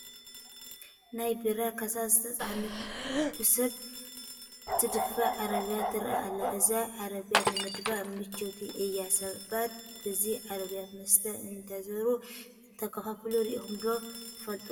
ናይ ቢራ ካሳ ዝፀዓነት ብሰብ ትድፋእ ዓረቢያ ትርአ ኣላ፡፡ እዛ ዓረቢያ ንምድፍኣ ምችዉቲ እያ፡፡ ሰባት በዛ ዓረቢያ መስተ እንዳዞሩ እንተከፋፍሉ ርኢኹም ዶ ትፈልጡ?